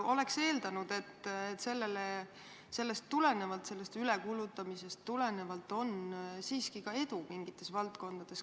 Oleks eeldanud, et sellest ülekulutamisest tulenevalt on siiski ka edu mingites valdkondades.